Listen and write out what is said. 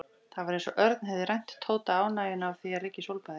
Það var eins og Örn hefði rænt Tóta ánægjunni af því að liggja í sólbaði.